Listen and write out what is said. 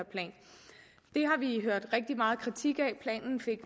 hørt rigtig meget kritik af planen fik